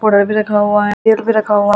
powder भी रखा हुआ है तेल भी रखा हुआ--